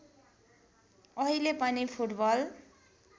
अहिले पनि फुटबल